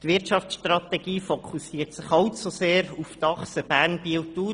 Die Wirtschaftsstrategie fokussiert allzu sehr auf die Achse Bern–Biel–Thun.